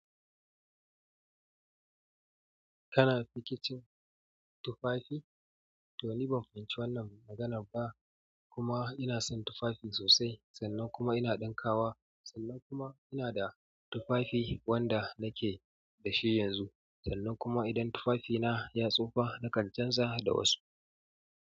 Kana rikicin tufafi? To ni ban fahimci wannan maganan ba. Kuma ina son tufafi sosai, sannan kuma ina ɗinkawa, sannan kuma ina da tufafi wanda nake da shi yanzu. Sannan kuma idan tufafina ya tsufa, nakan canza da wasu.